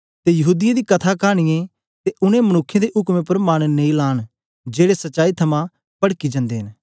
ते यहूदीयें दी कथा कानीयें ते उनै मनुक्खें दे उकमें उपर मन नेई लांन जेड़े सच्चाई थमां पड़की जंदे न